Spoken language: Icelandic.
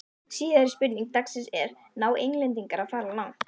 Síðari spurning dagsins er: Ná Englendingar að fara langt?